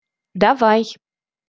давай